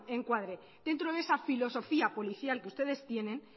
se encuadre dentro de esa filosofía policial que ustedes tienen